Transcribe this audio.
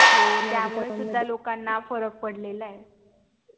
हो त्या मुळे सुद्धा लोकांना फरक पडलेला ये